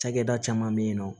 Cakɛda caman be yen nɔ